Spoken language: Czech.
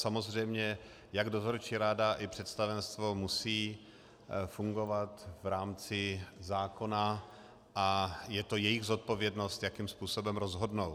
Samozřejmě jak dozorčí rada, tak představenstvo musí fungovat v rámci zákona a je to jejich zodpovědnost, jakým způsobem rozhodnou.